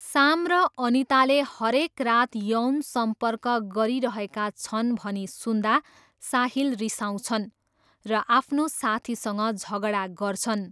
साम र अनिताले हरेक रात यौन सम्पर्क गरिरहेका छन् भनी सुन्दा साहिल रिसाउँछन् र आफ्नो साथीसँग झगडा गर्छन्।